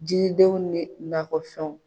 Jiridenw ni nakɔfɛnw.